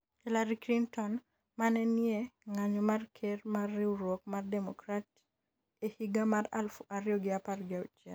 Hillary Clinton ma ne nie ng'anyo mar ker mar riwruok mar Democrat e higa mar aluf ariyo gi apar gi auchiel